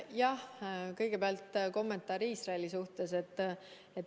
Jah, kõigepealt kommentaar Iisraeli kohta.